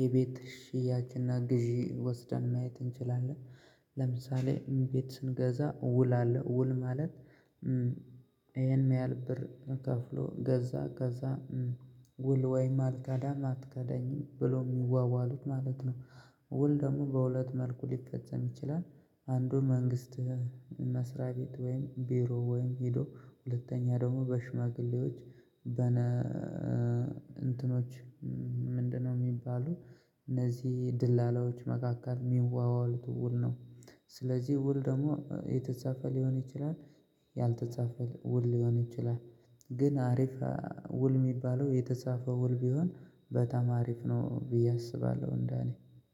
የቤት ሽያጭና ግዢ ወስደን ማየት እንችላለን። ለምሳሌ ቤት ስንገዛ ውል አለ ውል ማለት ይሄን ያህል ብር ከፍሎ ገዛ ከዛ ውል ወይም አልከዳህም አትከዳኝም ብሎ የሚዋዋሉት ማለት ነው። ውል ደግሞ በሁለት መልኩ ሊፈጸም ይችላል። አንዱን መንግስት መስሪያ ቤት ወይም ቢሮ ወይም ሄዶ ሁለተኛ ደግሞ በሽማግሌዎች በመ እንትኖች ምንድነው የሚባሉት? እነዚህ ደላላዎች መካከል የሚዋዋሉት ውል ነው። ስለዚህ ውል ደግሞ የተጻፈ ሊሆን ይችላል። ያልተጻፈ ውል ሊሆን ይችላል። ግን አሪፍ ውል የሚባለው የተጻፈ ውል ቢሆን በጣም አሪፍ ነው ብዬ አስባለሁ። እንደ እኔ